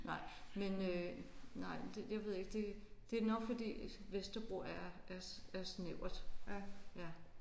Nej men øh nej det jeg ved ikke det det er nok fordi Vesterbro er er er snævert ja